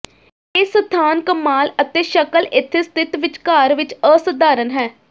ਇਹ ਸਥਾਨ ਕਮਾਲ ਅਤੇ ਸ਼ਕਲ ਇੱਥੇ ਸਥਿਤ ਵਿੱਚਕਾਰ ਵਿੱਚ ਅਸਾਧਾਰਨ ਹੈ